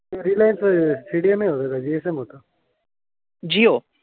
Jio.